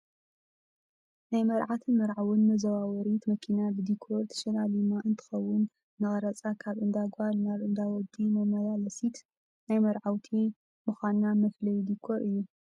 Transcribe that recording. ናይ መርዓትን መርዓውን መዘዋወሪት መኪና ብዲኮር ተሸላሊማ እንትከውን፣ ንቀረፃን ካብ እንዳ ጓል ናብ እንዳ ወዲ መመላለሲት ናይ መረዓውቲ ምኳና መፈለይ ዲኮር እዩ።